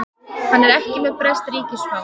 Hann er ekki með breskt ríkisfang